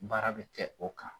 Baara bɛ kɛ o kan.